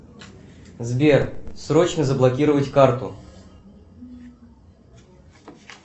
сбер срочно заблокировать карту